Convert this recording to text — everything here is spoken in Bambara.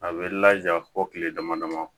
A bɛ laja fɔ kile dama dama